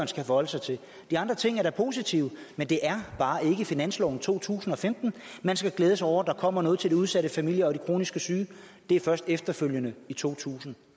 skal forholde sig til de andre ting er da positive men det er bare ikke i finansloven for to tusind og femten man skal glæde sig over at der kommer noget til de udsatte familier og de kronisk syge det er først efterfølgende i totusinde